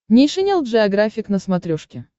нейшенел джеографик на смотрешке